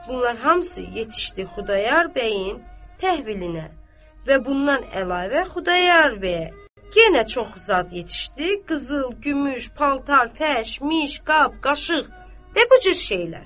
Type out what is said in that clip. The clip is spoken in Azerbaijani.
Bunlar hamısı yetişdi Xudayar bəyin təhvilinə və bundan əlavə Xudayar bəyə yenə çoxlu zad yetişdi, qızıl, gümüş, paltar, fəş, miş, qab, qaşıq və bu cür şeylər.